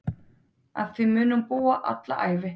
Að því muni hún búa alla ævi.